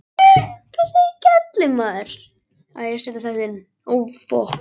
Halldór Sigurðsson þekki ég ekki- og hef aldrei gert.